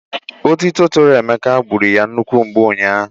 Ótító toro Emeka gburu ya nnukwu mgbu ụnyaahụ.